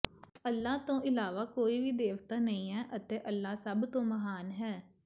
ਅੱਲਾਹ ਤੋਂ ਇਲਾਵਾ ਕੋਈ ਵੀ ਦੇਵਤਾ ਨਹੀਂ ਹੈ ਅਤੇ ਅੱਲ੍ਹਾ ਸਭ ਤੋਂ ਮਹਾਨ ਹੈ